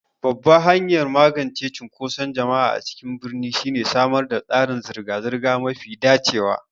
Babban hanyar magance cunkoson jama'a a cikin birni shine samar da tsarin zirga-zirga mafi dacewa.